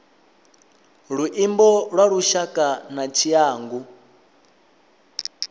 luimbo lwa lushaka na tshiangu